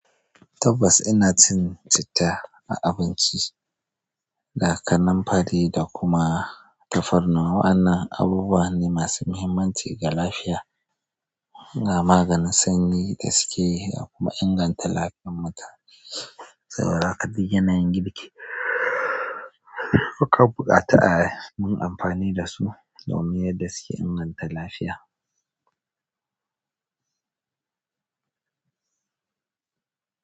Tabbas ina cin citta a abinci. Da kaninfari da kuma tafarnuwa ana abubuwa ne masu muhimmanci ga lafiya. Na maganin sanyi da suke kuma inganta lafiyar mutum. Saboda haka duk yanayin girki muka buƙata a mun amfani dasu domin yadda suke inganta lafiya.